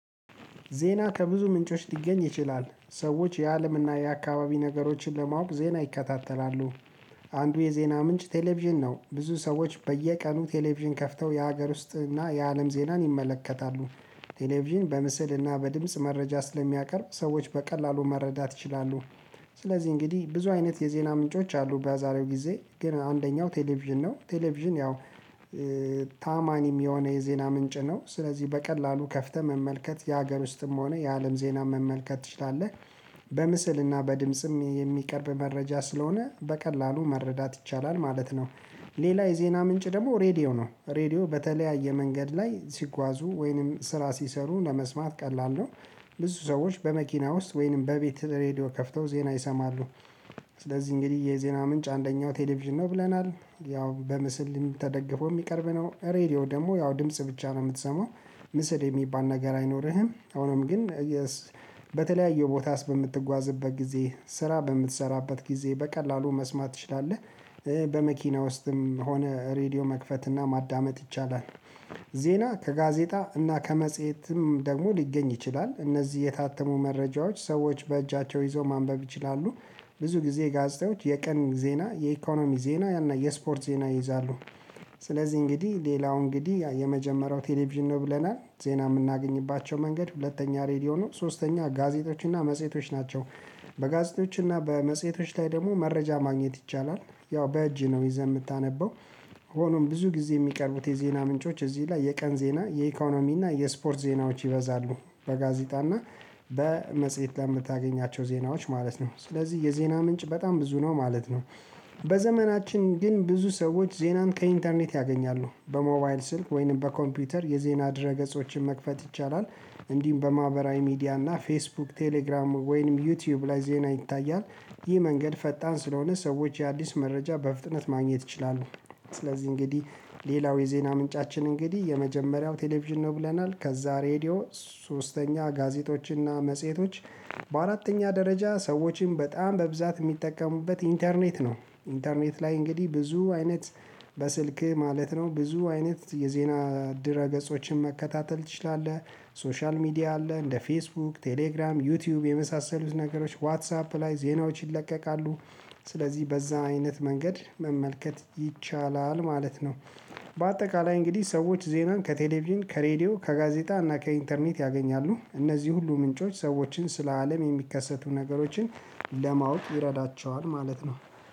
ዜና ከብዙ ምንጮች ሊገኝ ይችላል ሰዎች የአለምና የአካባቢ ነገሮችን ለማወቅ ዜና ይከታተላሉ። አንዱ የዜና ምንጭ ቴሌቪዥን ነው ብዙ ሰዎች በየቀኑ ቴሌቪዥን ከፍተው የሀገር ውስጥ እና የአለም ዜናን ይመለከታሉ። ቴሌቪዥን በምስልና በድምጽ መረጃ ስለሚያቀርብ ሰዎች በቀላሉ መረዳት ይችላሉ። ስለዚህ እንግዲህ ብዙ አይነት የዜና ምንጮች አሉ በዛሬው ጊዜ ግን አንደኛው ቴሌቪዥን ነው። ቴሌቪዥን ያው ታማኝም የሆነ የዜና ምንጭ ነው ስለዚህ በቀላሉ ከፍተህ መመልከት የሀገር ውስጥም ሆነ የአለም ዜና መመልከት ትችላለህ። በምስልና በድምጽም የሚቀርብ መረጃ ስለሆነ በቀላሉ መረዳት ይቻላል ማለት ነው። ሌላ የዜና ምንጭ ደግሞ ሬዲዮ ነው ሬዲዮ በተለያየ መንገድ ላይ ሲጓዙ ወይንም ስራ ሲሰሩ ለመስማት ቀላል ነው። ብዙ ሰዎች በመኪና ውስጥ ወይንም በቤት ሬድዮ ከፍተው ዜና ይሰማሉ። ስለዚህ እንግዲህ የዜና ምንጭ አንደኛው ቴሌቪዥን ነው ብለናል ያው በምስል ተደግፈው የሚቀርብ ነው ሬድዮ ደግሞ ያው ድምጽ ብቻ ነው የምትሰማው። ምስል የሚባል ነገር አይኖርህም። ሆኖም ግን በተለያየ ቦታ በምትጓዝበት ጊዜ ስራ በምትሰራበት ጊዜ በቀላሉ መስማት ትችላለህ። በመኪና ውስጥም ሆነ ሬድዮ መክፈትና ማዳመጥ ይቻላል። ዜና ከጋዜጣ እና ከመጽሄትም ደግሞ ሊገኝ ይችላል። እነዚህ የታተሙ መረጃዎች ሰዎች በእጃቸው ይዘው ማንበብ ይችላሉ። ብዙ ጊዜ ጋዜጣዎች የቀን ዜና የኢኮኖሚ ዜና የስፖርት ዜና ይይዛሉ። ስለዚህ እንግዲህ ሌላው እንግዲህ የመጀመሪያው ቴሌቪዥን ነው ብለናል ዜና የምናገኝባቸው መንገድ ሁለተኛ ሬድዮ ነው ሶስተኛ ጋዜጦች እና መጽሄቶች ናቸው። በጋዜጦች እና በመጽሄቶች ላይ ደግሞ መረጃ ማግኘት ይቻላል። ያው በእጅ ነው ይዘህ የምታነበው። ሆኖም ብዙ ጊዜ የሚቀርቡት የዜና ምንጮች እዚህ ላይ የቀን ዜና የኢኮኖሚና የስፖርት ዜናዎች ይበዛሉ። በጋዜጣና በመጽሄት ለምታገኛቸው ዜናዎች ማለት ነው ስለዚህ የዜና ምንጭ በጣም ብዙ ነው ማለት ነው። በዘመናችን ግን ብዙ ሰዎች ዜናን ከኢንተርኔት ያገኛሉ። በሞባይል ስልክ ወይንም በኮምፒውተር የዜና ድረገጾችን መክፈት ይቻላል። እንዲህም በማህበራዊ ሚዲያና ፌስቡክ ቴሌግራም ወይንም ዩቲዩብ ላይ ዜና ይታያል። ይህ መንገድ ፈጣን ስለሆነ ሰዎች አዲስ መረጃ በፍጥነት ማግኘት ይችላሉ። ስለዚህ እንግዲህ ሌላው የዜና ምንጫችን እንግዲህ የመጀመሪያው ቴሌቪዥን ነው። ብለናል ከዛ ሬድዮ ሶስተኛ ጋዜጦችና መጽሄቶች በአራተኛ ደረጃ ሰዎችን በጣም በብዛት የሚጠቀሙበት ኢንተርኔት ነው። ኢንተርኔት ላይ እንግዲህ ብዙ አይነት በስልክህ ማለት ነው ብዙ አይነት የዜና ድረ ገጾችን መከታተል ትችላለህ። ሶሻል ሚዲያ አለ እንደ ፌስቡክ ቴሌግራም ዩቲዩብ የመሳሰሉት ነገሮች ዋትሳፕ ላይ ዜናዎች ይለቀቃሉ። ስለዚህ በዛ አይነት መንገድ መመልከት ይቻላል ማለት ነው። በአጠቃላይ እንግዲህ ሰዎች ዜናን ከቴሌቪዥን ከሬዲዮ ከጋዜጣ እና ከኢንተርኔት ያገኛሉ እነዚህ ሁሉ ምንጮች ሰዎችን ስለ አለም የሚከሰቱ ነገሮችን ለማወቅ ይረዳቸዋል ማለት ነው